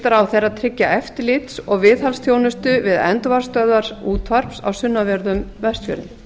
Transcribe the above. ráðherra tryggja eftirlits og viðhaldsþjónustu við endurvarpsstöðvar útvarps á sunnanverðum vestfjörðum